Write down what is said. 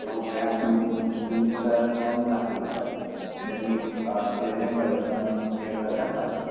तो घ्या आणि तुमचा थम लागतो तिथे मग तुम्ही प्रेझेंट पाहिजे थम करताना